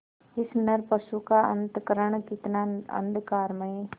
इस नरपशु का अंतःकरण कितना अंधकारमय